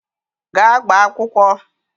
Gaa gbaa akwụkwọ!